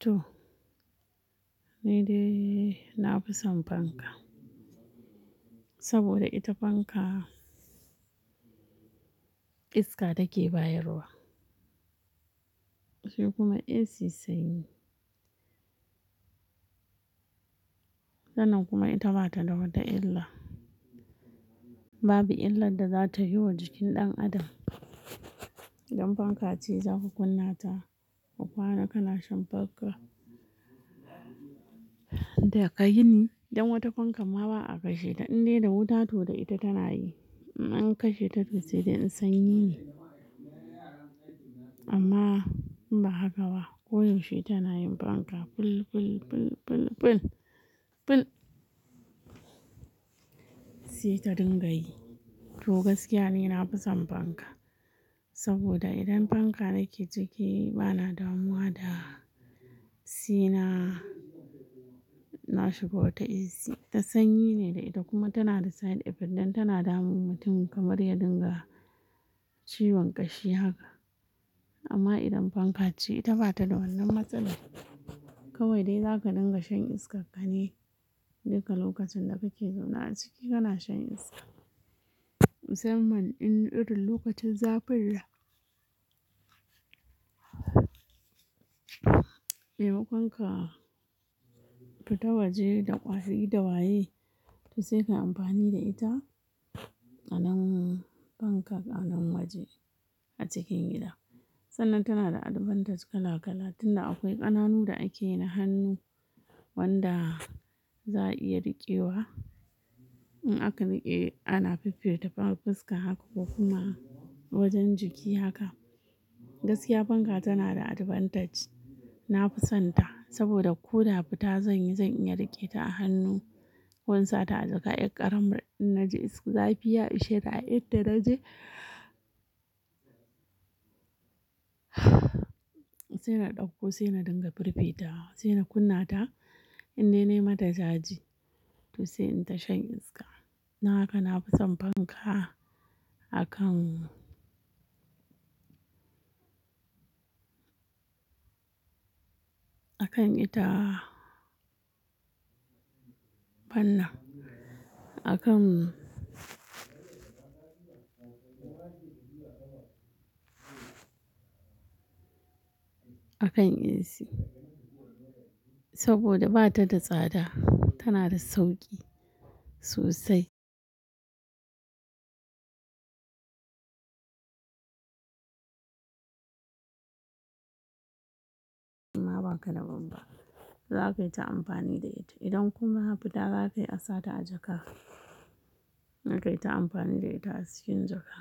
To, ni dai na fi son fanka saboda ita fanka iska take bayarwa sai kuma AC sanyi. Sannan kuma ita bata da wata illa. Babu illar da za ta yi wa jikin ɗan adam. Idan fanka ce za ka kunna ta, a kwana kana shan fanka da ka yini. Dan wata fankan ma ba a kashe ta in dai da wuta, to da ita tana yi. In an kashe ta, to sai dai in sanyi ne amma ba haka ba. Koyaushe tana yin fanka. Ful, ful, ful, ful, ful, ful. Sai ka dinga yi. To gaskiya ni na fi son fanka saboda idan fanka nake ciki bana damuwa da se na na shiga wata AC. Ta sanyi ne da ita kuma tana da side effect ɗin tana damun mutum kamar ya dinga ciwon ƙashi haka. Amma idan fanka ce, ita bata da wannan matsalar. Kawai dai za ka dinga shan iskan ka ne. Duka lokacin da kake zaune a ciki kana shan iska. Musamman in irin lokacin zafin nan. Mai makonka fita waje da ƙwashi da waye, to sai ka yi amfani da ita. Ƙaman fanka anan waje a cikin gida. Sannan tana da advantage kala kala tun da akwai ƙananu da ake na hannu wanda za a iya riƙewa. In aka riƙe ana fifita fiska haka ko kuma wajen jiki haka. Gaskiya fanka tana da advantage. Na fi son ta saboda ko da fita zan yi, zan iya riƙe ta a hannu ko in sa ta a jaka. Ƙaramin inna ji zafi ya ishe ni a inda na je sai na ɗauko, sai na dinga firfitawa, sai na kunna ta in dai na yi mata caji to sai in ta shan iska. Dan haka na fi son fanka akan, akan ita wannan. Akan, akan AC saboda ba ta da tsada, tana da sauƙi sosai. Kuma ba ka da banba. Za ka yi ta amfani da ita. Idan kuma fita za ka yi a sa ta a jaka. Na kai ta amfani da ita a cikin jaka.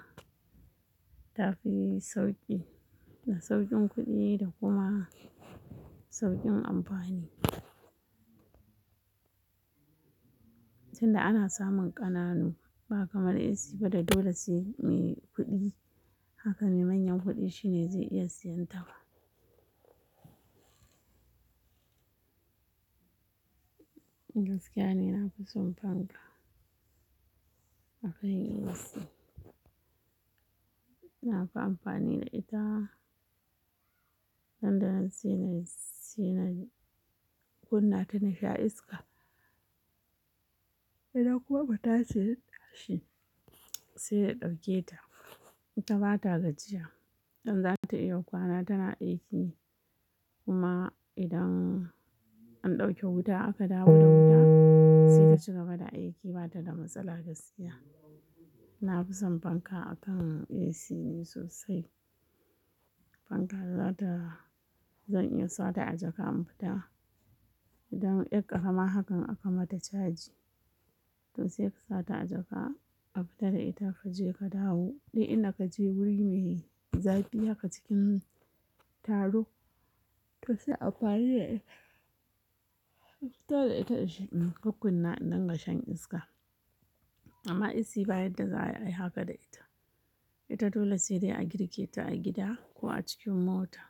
Ta fi sauƙi da sauƙin kuɗi da kuma sauƙin amfani. Tun da ana samun ƙananu ba kamar AC ba da dole sai mai kuɗi haka ne. Manyan kuɗi shine zai iya siyan ta ba. Gaskiya ni na fi son fanka akan AC. Na fi amfani da ita. Nan da nan sai na, sai na kunna ta na sha iska. Idan kuma fita ce sai na ɗauke ta. Ita bata gajiya. In za ta iya kwana tana aiki kuma idan an ɗauke wuta aka dawo da wuta sai ta ci gaba da aiki bata da matsala gaskiya. Na fi son fanka akan AC ne sosai. Fanka za ta, zan iya sa ta a jaka in fita. Idan yan ƙarama hakan aka mata caji to sai ka sa ta a jaka a fita da ita ka je ka dawo. In dai ka je wuri me zafi haka cikin taro to sai ayi ammafini da ita. Fita da ita waje in kukkunna in dinga shan iska. Amma AC ba yadda za a yi haka da ita. Ita dole sai dai a girke ta a gida ko a cikin mota.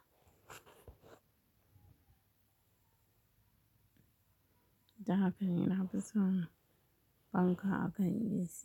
Dan hakan ne nafi son fanka akan Ac na fi son fanka akan AC.